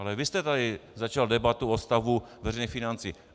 Ale vy jste tady začal debatu o stavu veřejných financí.